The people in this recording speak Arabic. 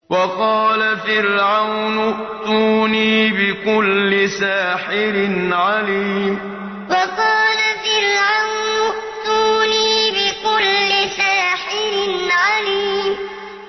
وَقَالَ فِرْعَوْنُ ائْتُونِي بِكُلِّ سَاحِرٍ عَلِيمٍ وَقَالَ فِرْعَوْنُ ائْتُونِي بِكُلِّ سَاحِرٍ عَلِيمٍ